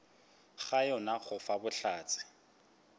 ga yona go fa bohlatse